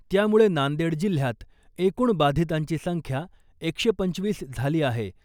त्यामुळे नांदेड जिल्ह्यात एकूण बाधितांची संख्या एकशे पंचवीस झाली आहे .